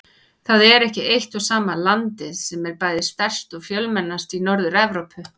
Það er ekki eitt og sama landið sem er bæði stærst og fjölmennast í Norður-Evrópu.